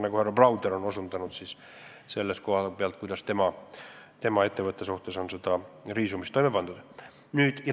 Härra Browder näiteks on viidanud, kuidas on toime pandud riisumine tema ettevõtte vastu.